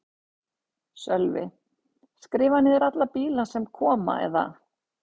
Sölvi: Skrifa niður alla bíla sem koma eða?